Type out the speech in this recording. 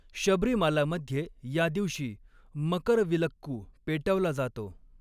शबरीमालामध्ये या दिवशी मकरविलक्कू पेटवला जातो.